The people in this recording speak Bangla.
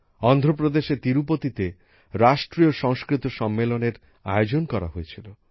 অন্ধ্রপ্রদেশের তিরুপতিতে রাষ্ট্রীয় সংস্কৃত সম্মেলনএর আয়োজন করা হয়েছিল